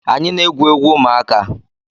Anyị na-egwu egwu ụmụaka